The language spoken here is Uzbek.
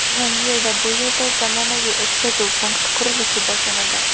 Yangi yilda bu yerda zamonaviy o‘tkazuv punkti qurilishi boshlanadi.